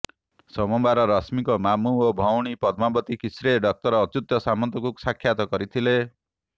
ସୋମବାର ରଶ୍ମିଙ୍କ ମାମୁ ଓ ଭଉଣୀ ପଦ୍ମାବତୀ କିସ୍ରେ ଡକ୍ଟର ଅଚ୍ୟୁତ ସାମନ୍ତଙ୍କୁ ସାକ୍ଷାତ କରିଥିଲେ